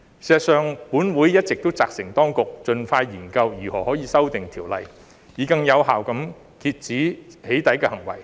事實上，本會一直責成當局盡快研究如何修訂條例，以更有效地遏止"起底"行為。